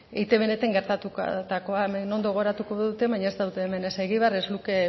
eitbn gertatutakoa hemen ondo gogoratuko dute baina ez daude hemen ez egibar ez luke